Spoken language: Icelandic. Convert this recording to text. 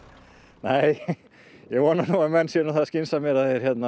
nei ég vona nú að menn séu það skynsamir að